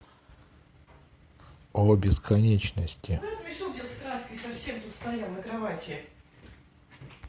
о бесконечности